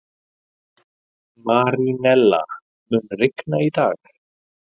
Marínella, mun rigna í dag?